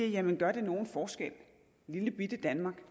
jamen gør lillebitte danmark